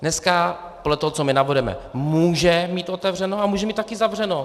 Dneska podle toho, co my navrhujeme, může mít otevřeno a může mít také zavřeno.